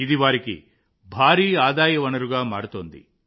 ఇది వారికి భారీ ఆదాయ వనరుగా మారుతోంది